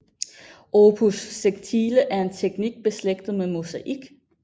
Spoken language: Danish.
Opus sectile er en teknik beslægtet med mosaik